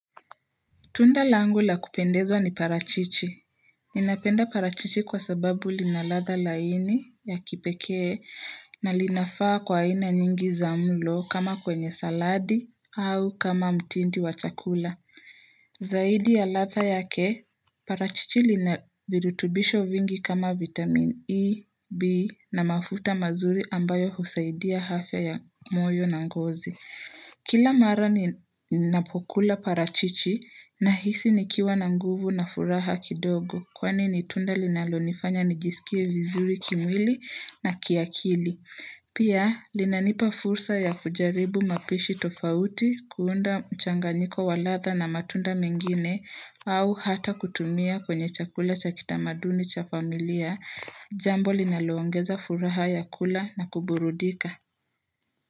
Tunda langula kupendezwa ni parachichi. Ninapenda parachichi kwa sababu linaladha laini ya kipekee na linafaa kwa aina nyingi za mlo kama kwenye saladi au kama mtindi wa chakula. Zaidi ya latha yake, parachichi lina virutubisho vingi kama vitamin E, B na mafuta mazuri ambayo husaidia hafya ya moyo na ngozi. Kila mara ninapokula parachichi na hisi nikiwa na nguvu na furaha kidogo kwani nitunda linalonifanya nijisikie vizuri kimwili na kiakili. Pia linanipa fursa ya kujaribu mapishi tofauti kuunda mchanganyiko walatha na matunda mengine au hata kutumia kwenye chakula cha kitamaduni cha familia jambo linaloongeza furaha ya kula na kuburudika.